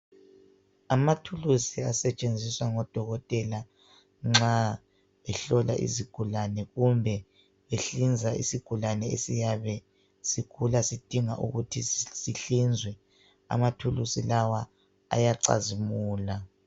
Amathulusi asetshenziswa ngoDokotela nxa behlola isigulane kumbe behlinza isigulane esiyabe sigula sidinga ukuthi sihlinzwe. Amathulusi lawa ayacazimula.